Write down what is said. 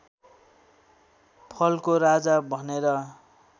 फलको राजा भनेर